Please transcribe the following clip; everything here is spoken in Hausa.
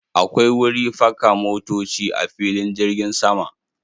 Akwai wuri faka motoci a filin jirgin sama.